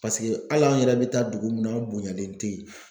Paseke hali an yɛrɛ bɛ taa dugu min na an bonyalen tɛ yen.